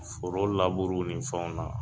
Foro laburu ni fɛnw na